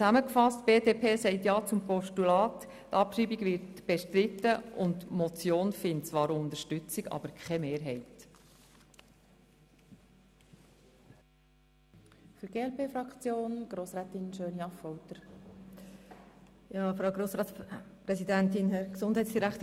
Zusammengefasst: Die BDP sagt ja zu einem Postulat, die Abschreibung wird bestritten und die Motion findet zwar Unterstützung, aber keine Mehrheit.